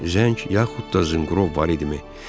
Zəng yaxud da zınqrov var idimi?